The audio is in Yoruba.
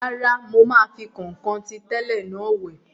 Rárá, mo máa fi kọ̀nkọ̀n ti tẹ́lẹ̀ náà wẹ̀